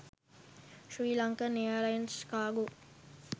sri lankan airlines cargo